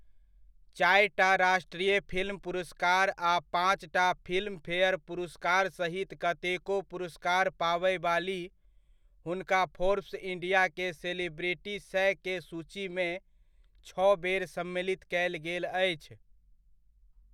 चारिटा राष्ट्रीय फिल्म पुरस्कार आ पाँचटा फिल्मफेयर पुरस्कार सहित कतेको पुरस्कार पाबयवाली, हुनका फोर्ब्स इण्डिया के सेलिब्रिटी सए के सूचीमे छओ बेर सम्मिलित कयल गेल अछि।